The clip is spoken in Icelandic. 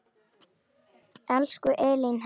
Elsku Elín Helga.